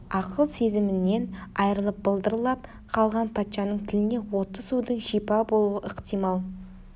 ақыл сезімінен айрылып былдырлап қалған патшаның тіліне отты судың шипа болуы ықтимал